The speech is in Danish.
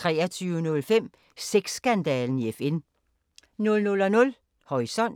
23:05: Sex-skandalen i FN 00:00: Horisont